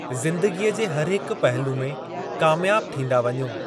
ज़िंदगीअ जे हर हिक पहलू में कामयाबु थींदा वञो।